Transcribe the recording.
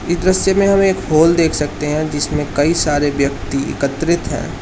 इस दृश्य में हमें हॉल देख सकते हैं जिसमें कई सारे व्यक्ति एकत्रित हैं।